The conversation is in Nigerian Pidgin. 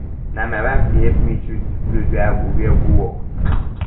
na my wife dey help me choose di cloth wey i go wear go work